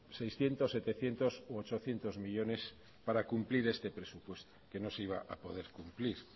seiscientos setecientos u ochocientos millónes para cumplir este presupuesto que no se iba a poder cumplir